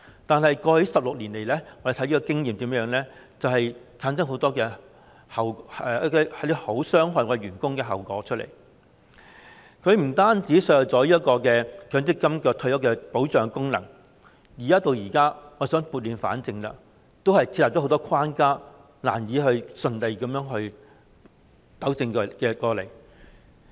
但是，過去16年來，根據我們的經驗，這安排產生了很多傷害僱員的後果，不僅削弱了強積金的退休保障功能，而且設下了很多關卡，即使我們現在想撥亂反正，也難以順利把問題糾正過來。